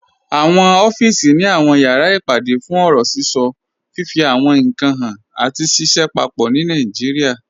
Awọn ọ̀fíìsì ni awọn yàrá ìpàdé fún ọ̀rọ̀ síṣọ, fifí àwọn ìnkan háàn, àti ṣìṣẹ̀ pápọ̀ ní Nàìjíríà.